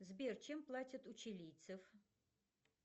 сбер чем платят у чилийцев